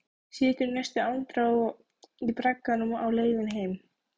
Situr í næstu andrá í bragganum á leiðinni heim.